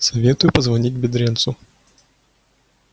советую позвонить бедренцу